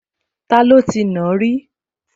Taló ti nàá rí?